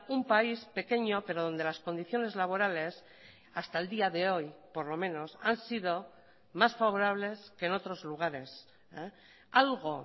un país pequeño pero donde las condiciones laborales hasta el día de hoy por lo menos han sido más favorables que en otros lugares algo